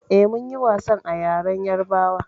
Eh, mun yi wasan a ƴaren ƴarbawa.